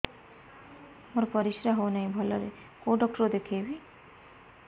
ମୋର ପରିଶ୍ରା ହଉନାହିଁ ଭଲରେ କୋଉ ଡକ୍ଟର କୁ ଦେଖେଇବି